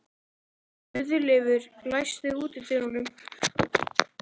Guðleifur, læstu útidyrunum.